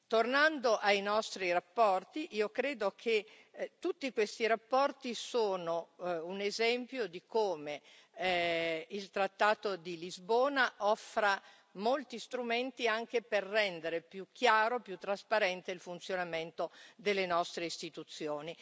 Tornando alle nostre relazioni, io credo che tutte queste relazioni siano un esempio di come il trattato di Lisbona offra molti strumenti anche per rendere più chiaro e più trasparente il funzionamento delle nostre Istituzioni.